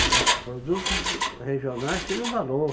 va produtos regionais tinham valor.